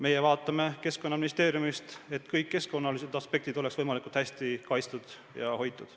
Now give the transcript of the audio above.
Meie vaatame Keskkonnaministeeriumis, et kõik keskkonnaaspektid oleksid võimalikult hästi kaitstud ja hoitud.